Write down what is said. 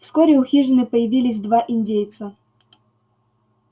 вскоре у хижины появились два индейца